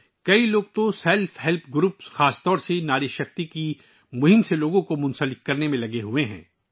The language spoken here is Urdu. بہت سے لوگ لوگوں کو سیلف ہیلپ گروپس، خاص طور پر ناری شکتی مہم سے جوڑنے میں لگے ہوئے ہیں